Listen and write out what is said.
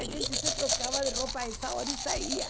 A gente se trocava de roupa nessa hora e saía.